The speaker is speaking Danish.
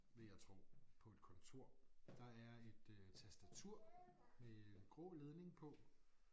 Vil jeg tror på et kontor. Der er et øh tastatur med grå ledning på